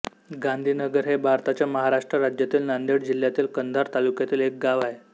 गांधीनगर हे भारताच्या महाराष्ट्र राज्यातील नांदेड जिल्ह्यातील कंधार तालुक्यातील एक गाव आहे